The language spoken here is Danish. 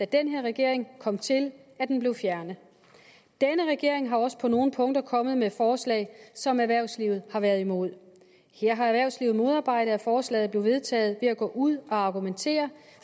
den her regering kom til at den blev fjernet denne regering har også på nogle punkter kommet med forslag som erhvervslivet har været imod her har erhvervslivet modarbejdet at forslaget blev vedtaget ved at gå ud og argumentere